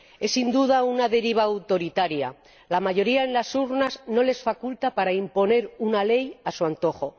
Es, sin duda, una deriva autoritaria la mayoría en las urnas no les faculta para imponer una ley a su antojo.